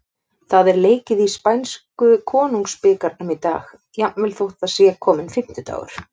Það er leikið í spænsku Konungsbikarnum í dag, jafnvel þótt það sé kominn fimmtudagur.